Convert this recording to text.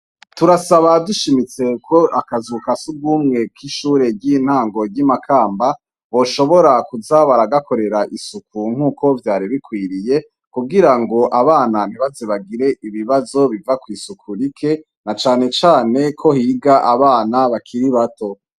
turasaba dushimitse ko akazu kasugumwe k'ishure ry'intango ry'imakamba boshobora kuza baragakorera isuku nk'uko vyari bikwiriye kugira ngo abana ntibaze bagire ibibazo biva kw' isuku rike na cane cane ko higa abana bakiri bato